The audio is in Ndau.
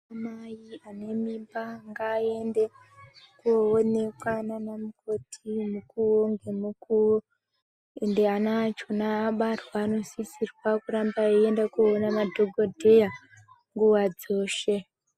Mai anemimba ngaaende koonekwa nanamukoti mukuru nemukuru ende ana acho abarwa anosisirwa kuramba veienda kunoona madhokodheya nguva dzoshe.